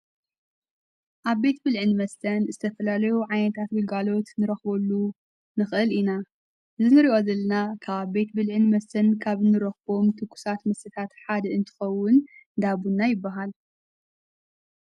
ኣብ ቤት ብልዕን መስተን እዝተፈላለዩ ዓይታት ቢጋሎት ንረኽበሉ ንኽእል ኢና ዝንርዖዘልና ካኣብ ቤት ብልዕን መስተን ካብ ንሮኽቦም ትጉሳት ምስታት ሓድ እንትኸውን ዳቡና ይበሃል።